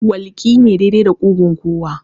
Walƙi ne daidai da ƙugun kowa